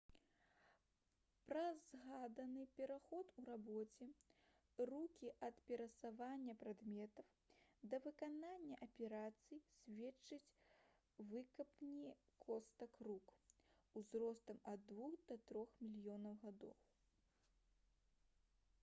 пра згаданы пераход у рабоце рукі ад перасоўвання прадметаў да выканання аперацый сведчаць выкапні костак рук узростам ад двух да трох мільёнаў гадоў